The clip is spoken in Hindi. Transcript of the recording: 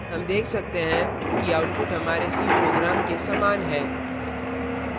हम देख सकते हैं कि output हमारे c program के समान है